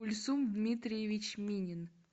ульсун дмитриевич минин